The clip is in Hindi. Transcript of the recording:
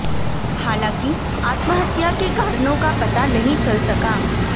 हालांकि आत्महत्या के कारणों का पता नहीं चल सका